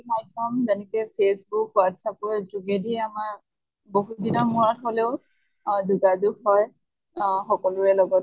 মাধ্য়ম যেনেকে facebook, whatsapp ৰ যোগেদি আমাৰ বহুত দিনৰ মুৰত হলেও আ যোগাযোগ কৰে আহ সকলোৰে লগত